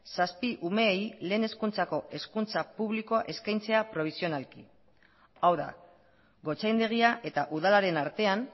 zazpi umeei lehen hezkuntzako hezkuntza publikoa eskaintzea probisionalki hau da gotzaindegia eta udalaren artean